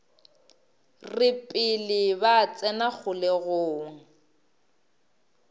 re pele ba tsena kgolegong